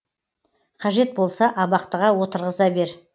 қажет болса абақтыға отырғыза бер